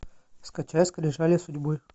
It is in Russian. скачай скрижали судьбы